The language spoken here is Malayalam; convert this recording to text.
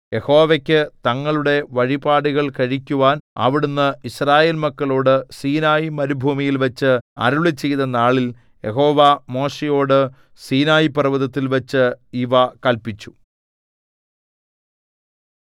യഹോവയ്ക്കു തങ്ങളുടെ വഴിപാടുകൾ കഴിക്കുവാൻ അവിടുന്ന് യിസ്രായേൽ മക്കളോടു സീനായിമരുഭൂമിയിൽവച്ച് അരുളിച്ചെയ്ത നാളിൽ യഹോവ മോശെയോടു സീനായിപർവ്വതത്തിൽവച്ച് ഇവ കല്പിച്ചു